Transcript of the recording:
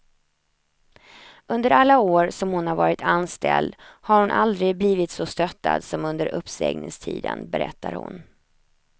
Under alla år som hon har varit anställd har hon aldrig blivit så stöttad som under uppsägningstiden, berättar hon.